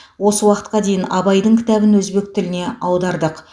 осы уақытқа дейін абайдың кітабын өзбек тіліне аудардық